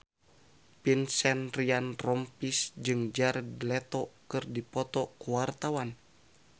Vincent Ryan Rompies jeung Jared Leto keur dipoto ku wartawan